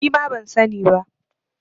Nima ban sani ba